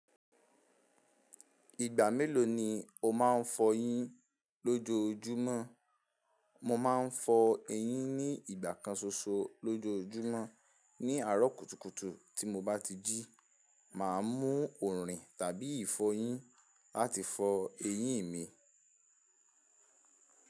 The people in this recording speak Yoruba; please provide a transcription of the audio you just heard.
Ìgbà mélòó ni o máa ń fọ eyín lójoojúmọ́? Mo máa ń fọ ẹyín ní ìgbà kan ṣoṣo lójojúmọ́. Ní àárọ̀ kùtùkùtù tí mo bá ti jí, màá mú òòrìn tàbí ìfọyín láti fọ eyín mi.